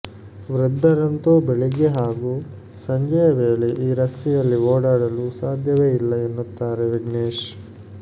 ವೃದ್ಧರಂತೂ ಬೆಳಿಗ್ಗೆ ಹಾಗೂ ಸಂಜೆಯ ವೇಳೆ ಈ ರಸ್ತೆಯಲ್ಲಿ ಓಡಾಡಲು ಸಾಧ್ಯವೇ ಇಲ್ಲ ಎನ್ನುತ್ತಾರೆ ವಿಘ್ನೇಶ್